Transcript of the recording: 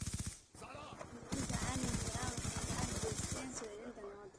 Ururada caalamiga ah waxay gacan ka geysteen soo celinta nabadda.